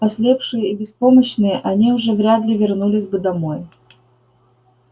ослепшие и беспомощные они уже вряд ли вернулись бы домой